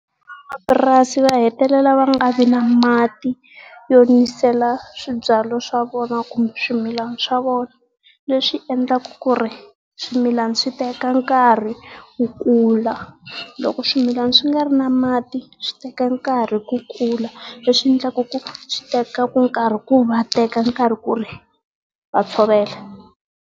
va hetelela va nga vi na mati yo nisela swibyariwa swa vona kumbe swimilana swa vona. Leswi endlaku ku ri swimilana swi teka nkarhi ku kula. Loko swimilana swi nga ri na mati, swi teka nkarhi ku kula. Leswi endlaka ku swi teka nkarhi ku ri va teka nkarhi ku ri va tshovela.